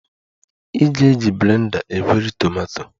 Ị ga-eji blender egweri tomato